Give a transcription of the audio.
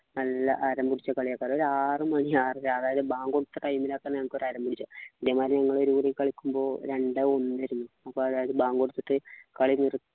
നല്ല കൊലയൊക്കെ അതായത് ആറുമണി ആറര ആയാല് ബാങ്ക് കൊടുത്ത time ലാ നമുക്കൊരു അരങ്ങു വരിക ഇതേമാതിരി ഞങ്ങള് ഒരു കളിക്കുമ്പോ രണ്ട് ഒന്ന് ആയിരുന്നു അതായത് ബാങ്ക് കൊടുത്തിട്ട് കളി നിർത്തി